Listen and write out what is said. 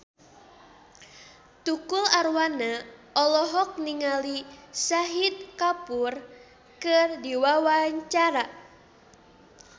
Tukul Arwana olohok ningali Shahid Kapoor keur diwawancara